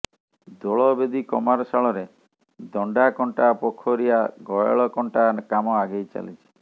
ଦୋଳବେଦି କମାରଶାଳରେ ଦଣ୍ଡାକଣ୍ଟା ପୋଖରିଆ ଗୟଳ କଣ୍ଟା କାମ ଆଗେଇ ଚାଲିଛି